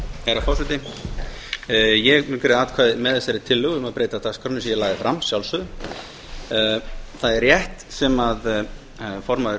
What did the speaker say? herra forseti ég mun greiða atkvæði með þessari tillögu um að breyta dagskránni eins og ég lagði fram að sjálfsögðu það er rétt sem formaður